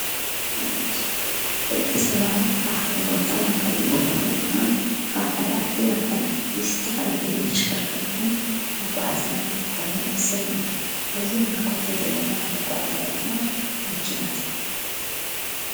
ደቂ ሰባት ካብ ሓደ ቦታ ናብ ካልእ ቦታ ወይ ድማ ካብ ሓደ ዓዲ ናብ ካልእ ዓዲ ዝተፈላለዩ ተሽከርከርትን መጉ ዓዘያን ክጥቀሙን ንዕዘብ ኢና፡፡ ኣብዚ ንምልኮቶ ዘለና መጓዓዚያ ድማ መኪና ትባሃል፡፡